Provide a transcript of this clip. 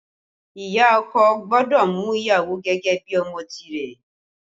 Ìyá ọkọ gbọ́dọ̀ mú ìyàwó gẹ́gẹ́ bí ọmọ tìrẹ